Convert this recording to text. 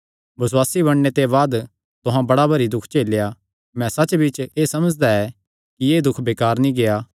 बसुआसी बणने ते बाद तुहां बड़ा भरी दुख झेलेया मैं सच्चबिच्च एह़ समझदा ऐ कि एह़ दुख बेकार नीं गेआ